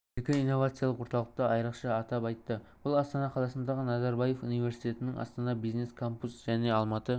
екі инновациялық орталықты айрықша атап айтты бұл астана қаласындағы назарбаев университетінің астана бизнес-кампус және алматы